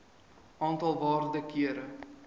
aantal waarde kere